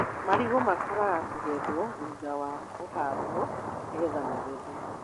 Marigũ makũraga kũgetwo thutha wa kũhandwo nĩgetha magethwo.